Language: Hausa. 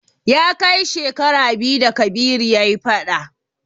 Ya kai shekara biyu da Kabiru ya yi fada.